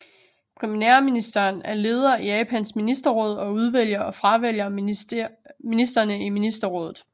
Premierministeren er lederen af Japans ministerråd og udvælger og fravælger ministrene i ministerrådet